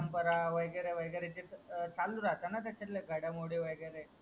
परंपरा वगेरे वगेरे त्यांचातले घडामोडी वगेरे